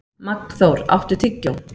Magnþór, áttu tyggjó?